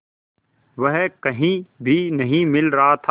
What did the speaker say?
वह कहीं भी नहीं मिल रहा था